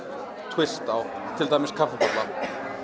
tvist á til dæmis kaffibolla